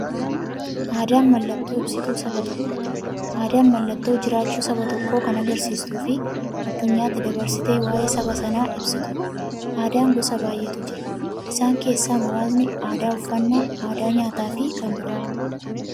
Aadaan mallattoo ibsituu saba tokkooti. Aadaan mallattoo jiraachuu saba tokkoo kan agarsiistufi addunyyaatti dabarsitee waa'ee saba sanaa ibsituudha. Aadaan gosa baay'eetu jira. Isaan keessaa muraasni aadaa, uffannaa aadaa nyaataafi kan biroo.